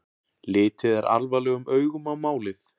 Litið er alvarlegum augum á málið